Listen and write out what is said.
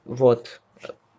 вот